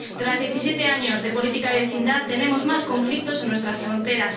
Tras diecisiete años de política de vecindad tenemos más conflictos en nuestras fronteras.